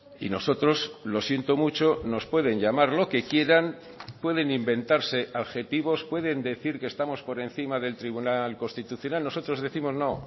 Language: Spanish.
y nosotros lo siento mucho nos pueden llamar lo que quieran pueden inventarse adjetivos pueden decir que estamos por encima del tribunal constitucional nosotros décimos no